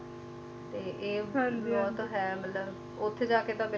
ਤੇ ਇਹ ਬਹੁਤ ਹੈ ਮਤਲਬ ਉੱਥੇ ਜਾਕੇ ਤਾਂ ਬਿਲਕੁਲ